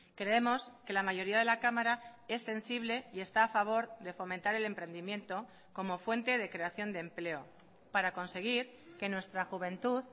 creemos que la mayoría de la cámara es sensible y está a favor de fomentar el emprendimiento como fuente de creación de empleo para conseguir que nuestra juventud